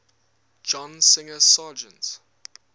john singer sargent